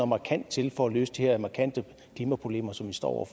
markant til for at løse de her markante klimaproblemer som vi står over